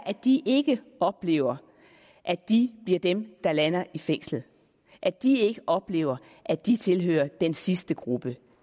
at de ikke oplever at de bliver dem der lander i fængslet at de ikke oplever at de tilhører den sidste gruppe